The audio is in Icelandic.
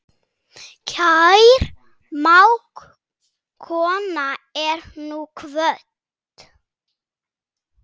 Kær mágkona er nú kvödd.